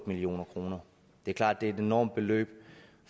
million kroner det er klart det er et enormt beløb